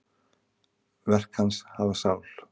Verk hans hafa sál.